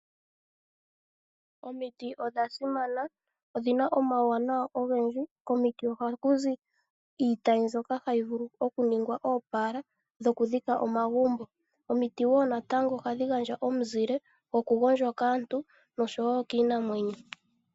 Omiti odha simana. Odhina omauwanawa ogendji, komiti ohaku zi iitayi mbyoka hayi vulu oku ningwa oopala dhoku dhika omagumbo. Omiti wo ohadhi gandja omuzile goku gondjwa kaantu noshowo kiinamwenyo.